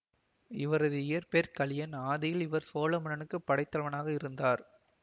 இவரது இயற்பெயர் கலியன் ஆதியில் இவர் சோழமன்னனுக்கு படைத்தலைவனாக இருந்தார்